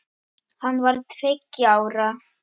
Hann var tveggja ára.